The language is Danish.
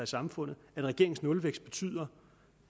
samfund at regeringens nulvækst betyder